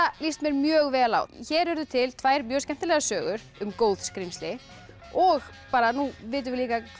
líst mér mjög vel á hér urðu til tvær mjög skemmtilegar sögur um góð skrímsli og nú vitum við